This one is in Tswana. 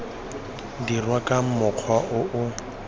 dirwa ka mokgwa o o